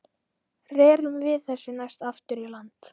Rerum við þessu næst aftur í land.